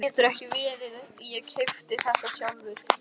Það getur ekki verið, ég keypti þetta sjálfur.